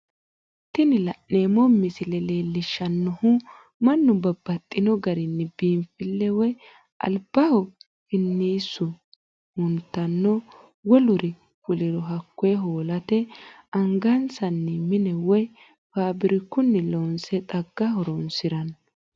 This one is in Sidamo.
Tini la'neemo misile leellishanohu mannu babaxxino garinni biinfile woyi alibaho finiisu hattono woluri fuliro hakoye hoolate angasinni mine woyi faabirikuni loonsonni xaga horonsiranno